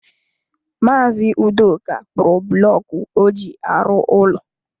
Maazi Udoka kpụrụ bụlọku ọ ji arụ ụlọ.